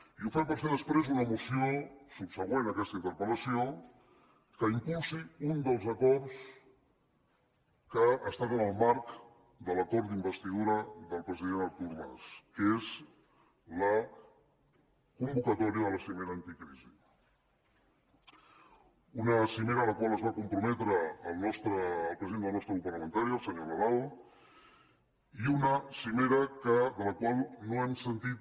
i ho fem per fer després una moció subsegüent a aquesta interpel·lació que impulsi un dels acords que estan en el marc de l’acord d’investidura del president artur mas que és la convocatòria de la cimera anticrisi una cimera a la qual es va comprometre el president del nostre grup parlamentari el senyor nadal i una cimera de la qual no hem sentit